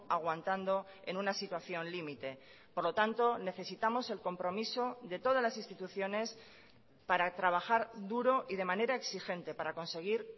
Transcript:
aguantando en una situación límite por lo tanto necesitamos el compromiso de todas las instituciones para trabajar duro y de manera exigente para conseguir